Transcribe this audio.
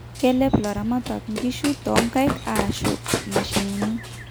Kelep ilaramatak inkiishu tonkaik ashua imashinini